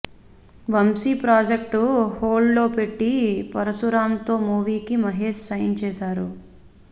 Vamsi project hold లో పెట్టి పరుశురాంతో మూవీకి మహేష్ సైన్ చేశారు